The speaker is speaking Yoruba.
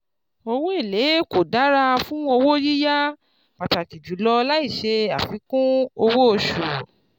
Owó èlé kó dára fún owó yíyá pàtàkì jùlọ láìṣe àfikún owó osù.